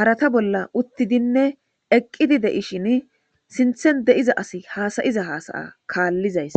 harata bolla uttidinne eqqidi deishin sinthen de7iza asi haasayiza haasaya kaallizays